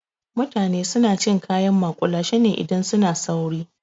Mutane suna cin kayan maƙulashe ne idan suna sauri.